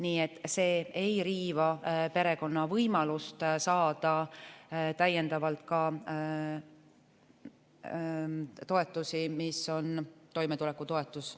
Nii et see ei riiva perekonna võimalust saada täiendavalt toetusi, mis on toimetulekutoetus.